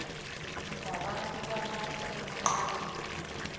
wabantu balapho emacaleni